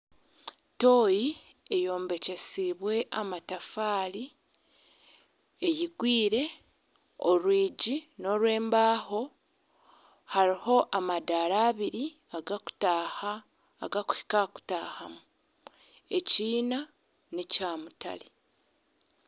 Tooyi eyombekyesiibwe amatafaari eyigwire. orwigi n'orwembaho. Hariho amadaara abiri agarikuhika aha kutaahamu. Ekiina n'ekyamutare.